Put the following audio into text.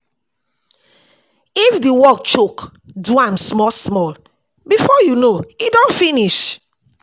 If di work choke, do am small small, before you know e don finish